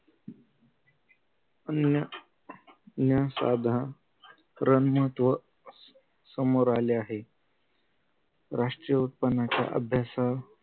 अन्य न्या साधा रन महत्व समोर आले आहे राष्ट्रीय उत्पन्नाच्या अभ्यासा